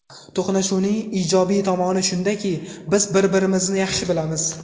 To‘qnashuvning ijobiy tomoni shundaki, biz bir-birimizni yaxshi bilamiz.